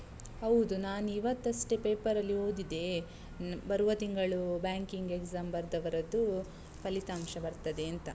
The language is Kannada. ಹೌದು, ನಾನಿವತ್ತಷ್ಟೇ ಪೇಪರಲ್ಲಿ ಓದಿದೆ. ಬರುವ ತಿಂಗಳು banking exam ಬರ್ದವರದ್ದು, ಫಲಿತಾಂಶ ಬರ್ತದೇಂತ.